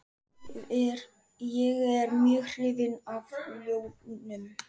Ég er mjög hrifinn af ljónum.